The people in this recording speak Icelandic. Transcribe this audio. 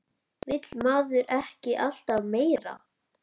Vill maður ekki alltaf meira?